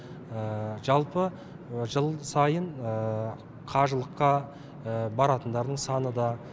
жалпы жыл сайын қажылыққа баратындардың саны да